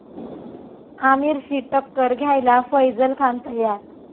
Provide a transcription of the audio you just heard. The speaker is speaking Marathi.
आमिरशी टक्कर घ्यायला फैझल खान तयार